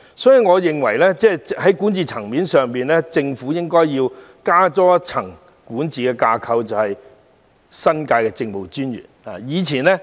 所以，我認為在管治層面上應多加一層管治架構，設立新界政務專員一職。